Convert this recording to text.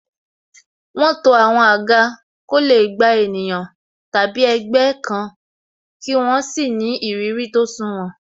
Wọn to àwọn àga ko le gba ènìyàn tàbí ẹgbẹ́ kan, kí wọ́n sì ni ìrírí tó sunwòn.